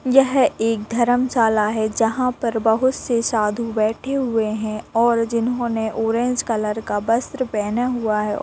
ये एक धर्मशाला है जहां पर बहुत से साधु बैठे हुए हैं और जिन्होने ऑरेंज कलर का वस्त्र पहना हुआ है।